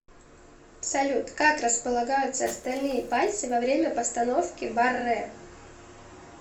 салют как располагаются остальные пальцы во время постановки баррэ